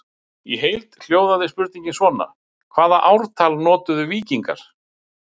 Í heild hljóðaði spurningin svona: Hvaða ártal notuðu víkingar?